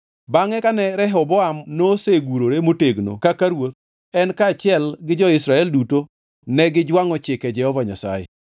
Bangʼe kane Rehoboam nosegurore motegno kaka ruoth, en kaachiel gi jo-Israel duto negijwangʼo chike Jehova Nyasaye.